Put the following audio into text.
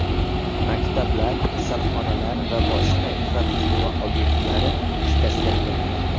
Maktablar, kasalxonalar va boshqa infratuzilma obyektlari shikastlangan.